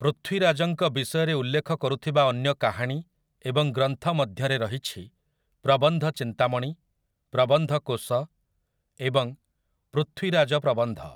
ପୃଥ୍ୱୀରାଜଙ୍କ ବିଷୟରେ ଉଲ୍ଲେଖ କରୁଥିବା ଅନ୍ୟ କାହାଣୀ ଏବଂ ଗ୍ରନ୍ଥ ମଧ୍ୟରେ ରହିଛି 'ପ୍ରବନ୍ଧ ଚିନ୍ତାମଣି', 'ପ୍ରବନ୍ଧ କୋଷ' ଏବଂ 'ପୃଥ୍ୱୀରାଜ ପ୍ରବନ୍ଧ' ।